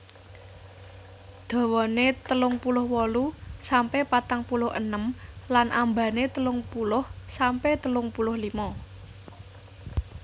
Dhawane telung puluh wolu sampe patang puluh enem lan ambane telung puluh sampe telung puluh limo